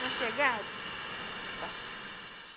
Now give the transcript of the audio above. Uma chegada. Bom